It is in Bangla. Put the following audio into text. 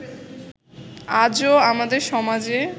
আজও আমাদের সমাজে